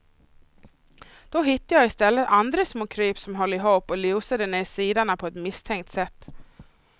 Då hittade jag i stället andra små kryp, som höll ihop och lusade ner sidorna på ett misstänkt sätt.